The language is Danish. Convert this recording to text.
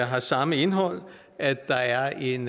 har samme indhold at der er en